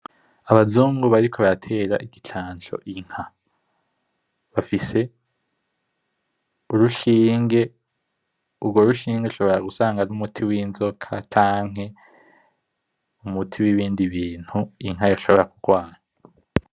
Abazungu bariko baratera igicanco inka. Bafise urushinge, urwo rushinge rushobora gusanga ari umuti w’inzoka canke umuti w’ ibindi bintu inka yoshobora kugwara.